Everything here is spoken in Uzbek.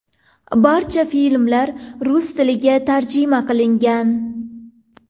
Barcha filmlar rus tiliga tarjima qilingan.